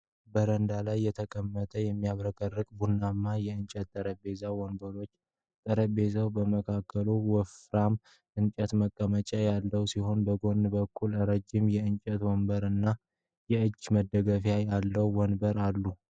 በረንዳ ላይ የተቀመጠ የሚያብረቀርቅ ቡናማ የእንጨት ጠረጴዛና ወንበሮችን ። ጠረጴዛው በመካከሉ ወፍራም የእንጨት መቀመጫ ያለበት ሲሆን በጎን በኩል ረጅም የእንጨት ወንበር እና የእጅ መደገፊያ ያለው ወንበር አሉ።